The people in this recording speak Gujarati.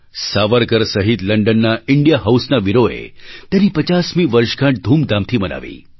સાવરકર સહિત લંડનના ઇન્ડિયા હાઉસના વીરોએ તેની 50મી વર્ષગાંઠ ધૂમધામથી મનાવી